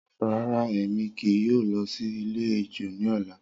Rara, Emi kii yoo lọ si ilẹ-ẹjọ ni ọla.